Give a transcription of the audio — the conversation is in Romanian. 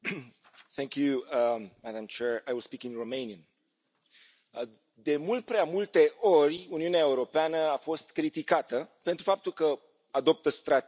Doamnă președintă, de mult prea multe ori, Uniunea Europeană a fost criticată pentru faptul că adoptă strategii, dar nu are instrumente să le pună în aplicare.